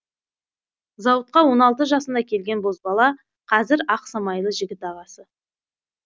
зауытқа он алты жасында келген бозбала қазір ақ самайлы жігіт ағасы